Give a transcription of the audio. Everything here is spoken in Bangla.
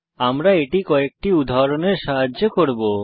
আমরা এটি কয়েকটি উদাহরণের সাহায্যে করব